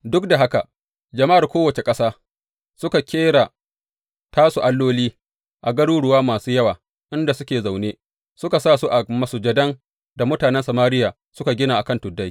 Duk da haka, jama’ar kowace ƙasa, suka ƙera tasu alloli a garuruwa masu yawa inda suke zaune, suka sa su a masujadan da mutanen Samariya suka gina a kan tuddai.